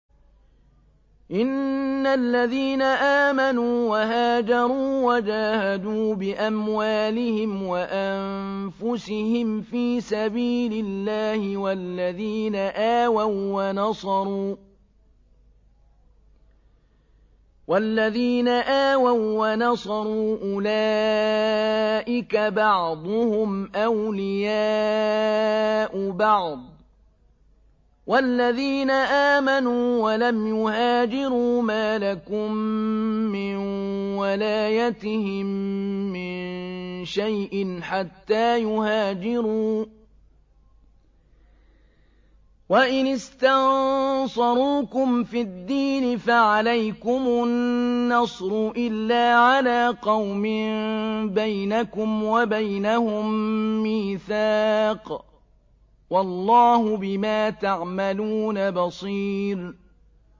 إِنَّ الَّذِينَ آمَنُوا وَهَاجَرُوا وَجَاهَدُوا بِأَمْوَالِهِمْ وَأَنفُسِهِمْ فِي سَبِيلِ اللَّهِ وَالَّذِينَ آوَوا وَّنَصَرُوا أُولَٰئِكَ بَعْضُهُمْ أَوْلِيَاءُ بَعْضٍ ۚ وَالَّذِينَ آمَنُوا وَلَمْ يُهَاجِرُوا مَا لَكُم مِّن وَلَايَتِهِم مِّن شَيْءٍ حَتَّىٰ يُهَاجِرُوا ۚ وَإِنِ اسْتَنصَرُوكُمْ فِي الدِّينِ فَعَلَيْكُمُ النَّصْرُ إِلَّا عَلَىٰ قَوْمٍ بَيْنَكُمْ وَبَيْنَهُم مِّيثَاقٌ ۗ وَاللَّهُ بِمَا تَعْمَلُونَ بَصِيرٌ